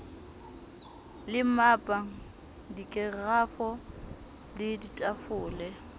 le mmapa dikerafo le ditafole